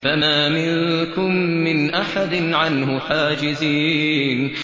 فَمَا مِنكُم مِّنْ أَحَدٍ عَنْهُ حَاجِزِينَ